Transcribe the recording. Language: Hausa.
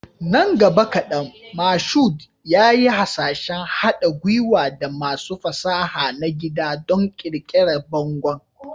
Nan gaba kadan, Mashood yayi hasashen haɗa gwiwa da masu fasaha na gida don ƙirƙirar bangon.